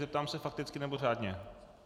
Zeptám se - fakticky, nebo řádně?